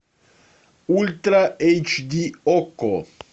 ультра эйч ди окко